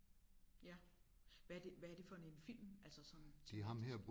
Ja hvad det hvad er det for en film altså sådan tematisk?